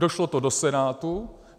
Došlo to do Senátu.